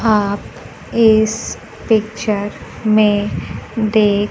आप इस पिक्चर में दे--